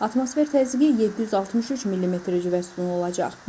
Atmosfer təzyiqi 763 millimetr civə sütunu olacaq.